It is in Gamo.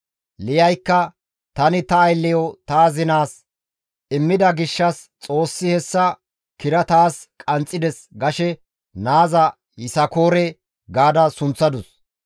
Liyaykka, «Tani ta aylleyo ta azinaas immida gishshas Xoossi hessa kira taas qanxxides» gashe naaza Yisakoore gaada sunththadus.